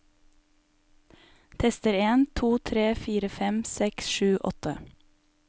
Tester en to tre fire fem seks sju åtte